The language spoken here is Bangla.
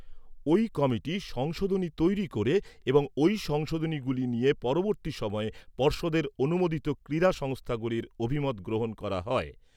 ওই কমিটি সংশোধনী তৈরী করে এবং ওই সংশোধনীগুলি নিয়ে পরবর্তী সময়ে পর্ষদের অনুমোদিত ক্রীড়া সংস্থাগুলির অভিমত গ্রহণ করা হয়।